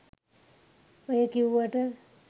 ඔය කිව්වට